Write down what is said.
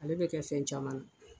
Ale be kɛ fɛn caman na.